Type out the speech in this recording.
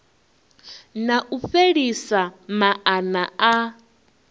na u fhelisa maana a